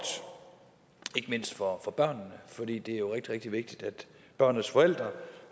ikke mindst for børnene for det er jo rigtig vigtigt at børnenes forældre